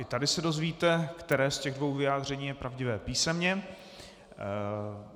I tady se dozvíte, které z těch dvou vyjádření je pravdivé, písemně.